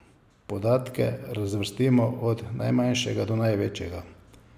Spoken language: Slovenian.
Podatke razvrstimo od najmanjšega do največjega.